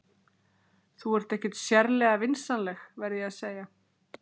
Þú ert ekki sérlega vinsamleg, verð ég að segja.